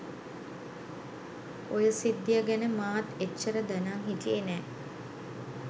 ඔය සිද්ධිය ගැන මාත් එච්චර දැනං හිටියේ නෑ.